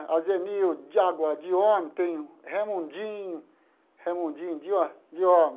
A Zenilde de agora de homem, tem Raimundinho, Raimundinho de ho de homem.